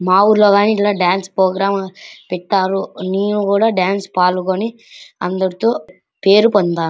మా ఊర్లో కూడ ఇట్ల డాన్స్ ప్రోగ్రాం పెట్టారు మీరు కూడా డాన్సు లో పాలుగొని అందరుతో పేరు పొందా --